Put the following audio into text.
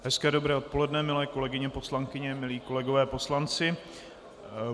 Hezké dobré odpoledne milé kolegyně poslankyně, milí kolegové poslanci.